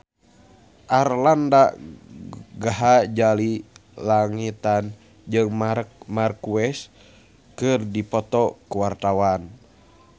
Arlanda Ghazali Langitan jeung Marc Marquez keur dipoto ku wartawan